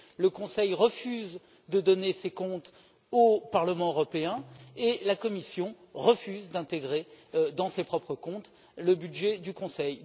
Le Conseil refuse de donner ses comptes au Parlement européen et la Commission refuse d'intégrer dans ses propres comptes le budget du Conseil.